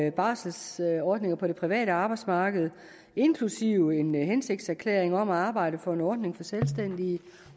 en barselsordninger på det private arbejdsmarked inklusive en hensigtserklæring om at arbejde for en ordning for selvstændige